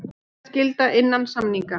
Bótaskylda innan samninga.